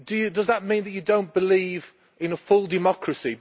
Does that mean that you do not believe in a full democracy?